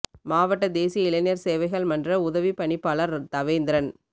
மாவட்டத் தேசிய இளைஞர் சேவைகள் மன்ற உதவிப் பணிப்பாளர் தவேந்திரன்